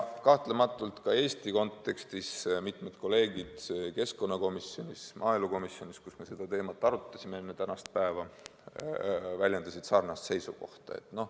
Ka Eestis on mitmed meie kolleegid keskkonnakomisjonis ja maaelukomisjonis, kus me seda teemat arutasime enne tänast päeva, väljendanud sarnast seisukohta.